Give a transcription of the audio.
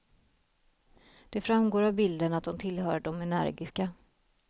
Det framgår av bilden att hon tillhör de energiska.